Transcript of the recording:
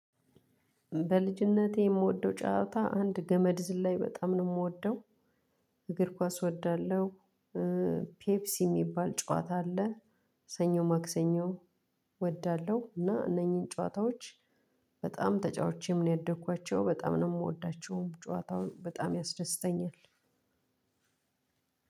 በልጅነቴ የምወደው ጨዋታ አንድ ገመድ ዝል ላይ በጣም ነው የምወደው። እግር ኳስ እወዳለሁ። ፔፕሲ የሚባል ጨዋታ አለ። ሰኞ ማክሰኞ። እወዳለሁ እና እነኚህን ጨዋታዎች በጣም ተጫውቼ ምን ያደኩት በጣም ነው የምወዳቸውም ጨዋታውን በጣም ያስደስተኛል።